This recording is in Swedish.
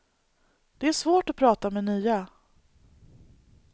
Det är svårt att prata med nya.